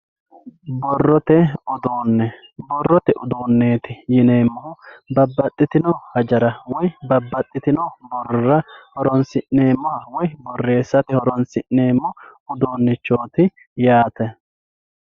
borrote uduunne borrote uduunneeti yineemmohu babbaxxitino hajara woy babbaxxitinno borrora horoonsi'neemmoha woy borreessate horoonsi'neemmo uduunnichooti yaate